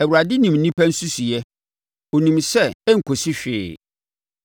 Awurade nim onipa nsusuiɛ; ɔnim sɛ ɛnkɔsi hwee.